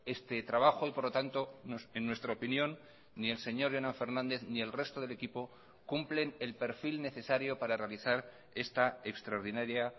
este trabajo y por lo tanto en nuestra opinión ni el señor jonan fernández ni el resto del equipo cumplen el perfil necesario para realizar esta extraordinaria